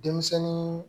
Denmisɛnnin